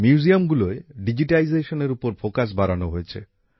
মিউজিয়ামগুলোয় ডিজিটাইজেশনের উপর গুরুত্ব বাড়ানো হয়েছে